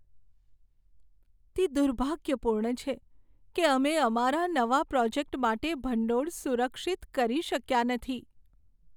તે દુર્ભાગ્યપૂર્ણ છે કે અમે અમારા નવા પ્રોજેક્ટ માટે ભંડોળ સુરક્ષિત કરી શક્યા નથી.